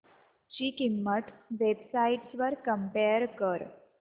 ची किंमत websites वर कम्पेअर कर